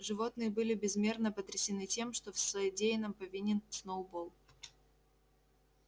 животные были безмерно потрясены тем что в содеянном повинен сноуболл